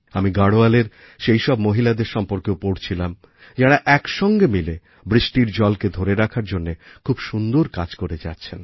আমি গাঢ়ওয়ালের সেইসব মহিলাদের সম্বন্ধেও পড়ছিলাম যাঁরা একসঙ্গে মিলে বৃষ্টির জলকে ধরে রাখার জন্য খুব সুন্দর কাজ করে যাচ্ছেন